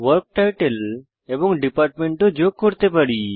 work title এবং department ও যোগ করতে পারি